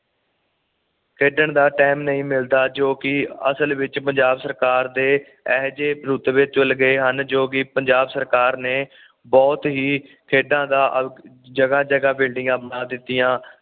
ਖੇਡਣ ਦਾ ਟਾਈਮ ਨਹੀਂ ਮਿਲਦਾ ਜੋ ਕਿ ਅਸਲ ਵਿੱਚ ਪੰਜਾਬ ਸਰਕਾਰ ਦੇ ਇਹੋ ਜਹੇ ਰੁਤਬੇ ਚੁਲ ਗਏ ਹਨ ਜੋ ਕਿ ਪੰਜਾਬ ਸਰਕਾਰ ਨੇ ਬੁਹਤ ਹੀ ਖੇਡਾਂ ਦਾ ਆ ਜਾਗਾ ਜਾਗਾ ਬਿਲਡਿੰਗਾਂ ਬਣਾ ਦਿੱਤੀਆਂ